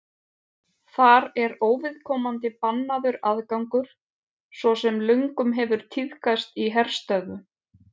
þar er óviðkomandi bannaður aðgangur svo sem löngum hefur tíðkast í herstöðvum